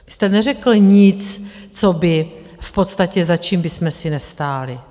Vy jste neřekl nic, co by v podstatě, za čím bychom si nestáli.